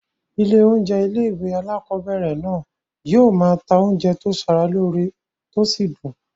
Ilé oúnjẹ ilé-ìwé alákobẹ̀rẹ̀ náà yóò máa ta oúnjẹ tó sara lóore tó sì dùn